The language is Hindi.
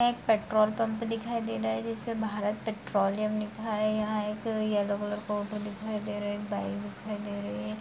यहां एक पेट्रोल पंप दिखाई दे रहा हैं जिसपे भारत पेट्रोलियम लिखा हैं यहां एक येलो कलर का ऑटो दिखाई दे रहा हैं एक बाइक दिखाई दे रही हैं।